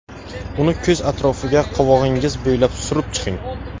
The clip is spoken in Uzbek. Uni ko‘z atrofiga qovog‘ingiz bo‘ylab surib chiqing.